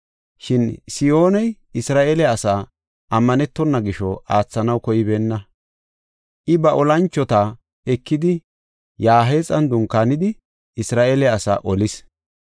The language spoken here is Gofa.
Shin Sihooney Isra7eele asaa ammanetona gisho aathanaw koybeenna. I ba olanchota ekidi Yahaaxan dunkaanidi Isra7eele asaa olis.